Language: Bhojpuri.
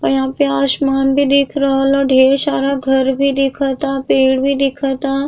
अ यहाँ पे आसमान भी दिख रहल ह। ढ़ेर सारा घर भी दिखता। पेड़ भी दिखता।